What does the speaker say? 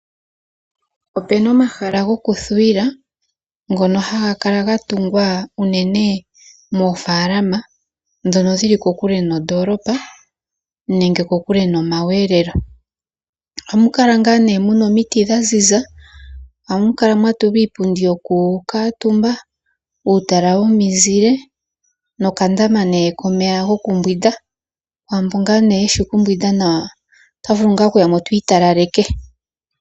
Opena omahala goku thuwila ngono haga kala gatungwa unene moofalama ndhono dhili kokule noondoolopa nenge kokule nomakudhilo . Ohamu kala muna omiti dhaziza. Ohamukala mwatulwa iipundi woku kuutumba ,uutala womizile ,nokandama kokumbwinda kwaambono ngaa yeshi oku mbwinda nawa otavulu ngaa okuyamo tiitalaleke.